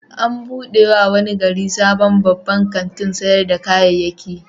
An buɗe wa wani gari sabon babban kantin sayar da kayayyaki.